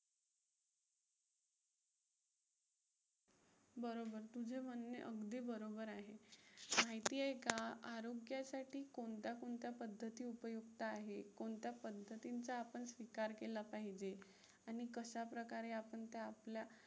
बरोबर, तुझं म्हणणं अगदी बरोबर आहे. माहिती आहे का? आरोग्यासाठी कोणत्या कोणत्या पद्धती उपयुक्त आहेत? कोणत्या पद्धतींचा आपण स्वीकार केला पाहिजे आणि कशाप्रकारे आपण त्या आपल्या